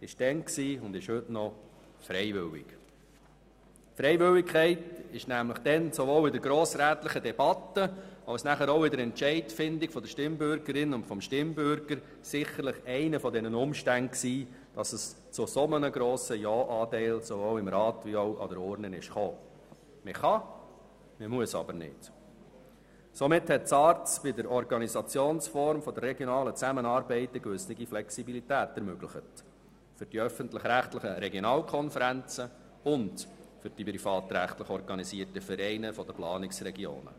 Mit den öffentlich-rechtlichen Regionalkonferenzen und den privatrechtlich organisierten Vereinen der Planungsregionen für die Organisationsform der regionalen Zusammenarbeit hat die SARZ eine gewisse Flexibilität ermöglicht.